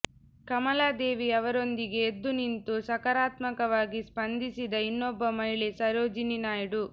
ಕಮಲಾದೇವಿ ಅವರೊಂದಿಗೆ ಎದ್ದು ನಿಂತು ಸಕಾರಾತ್ಮಕವಾಗಿ ಸ್ಪಂದಿಸಿದ ಇನ್ನೊಬ್ಬ ಮಹಿಳೆ ಸರೋಜಿನಿ ನಾಯ್ಡು